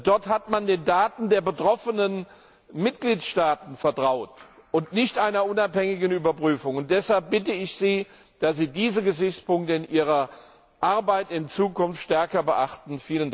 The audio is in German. Dort hat man den Daten der betroffenen Mitgliedstaaten vertraut und nicht einer unabhängigen Überprüfung. Deshalb bitte ich Sie, dass Sie diese Gesichtspunkte in Ihrer Arbeit in Zukunft stärker beachten.